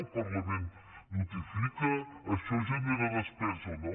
el parlament notifica això genera despesa o no